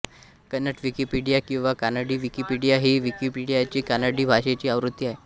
Kannada Wikipedia किंवा Kanadi Wikipedia ही विकिपीडियाची कानडी भाषेची आवृत्ती आहे